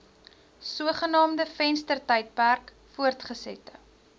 sogenaamde venstertydperk voortgesette